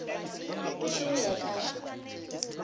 go se go ye kae